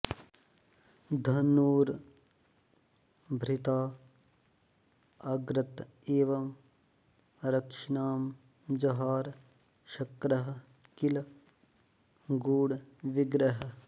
धनुर्भृतां अग्रत एव रक्षिणां जहार शक्रः किल गूढविग्रहः